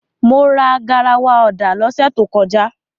Mo ra garawa ọ̀dà lọ́sẹ̀ tó kọjá.